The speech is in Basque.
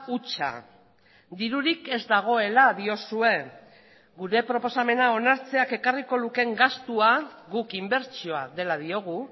hutsa dirurik ez dagoela diozue gure proposamena onartzeak ekarriko lukeen gastua guk inbertsioa dela diogu